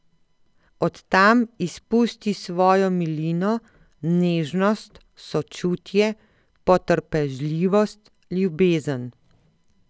Od tam izpusti svojo milino, nežnost, sočutje, potrpežljivost, ljubezen.